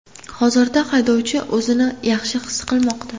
Hozirda haydovchi o‘zini yaxshi his qilmoqda.